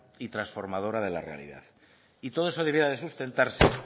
y transformadora de la realidad y todo eso debiera de sustentarse